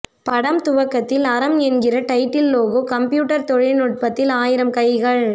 படம் துவங்கத்தில் அறம் என்கிற டைட்டில் லோகோ கம்ப்யூட்டர் தொழில்நுட்பத்தில் ஆயிரம் கைகள்